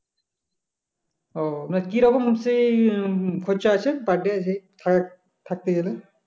ও না কি রকম হচ্ছে এর খরচা আছে per day থা~থাকতে গেলে?